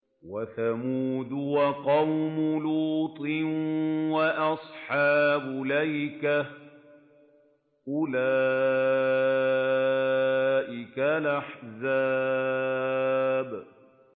وَثَمُودُ وَقَوْمُ لُوطٍ وَأَصْحَابُ الْأَيْكَةِ ۚ أُولَٰئِكَ الْأَحْزَابُ